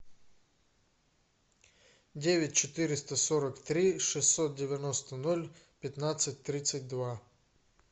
девять четыреста сорок три шестьсот девяносто ноль пятнадцать тридцать два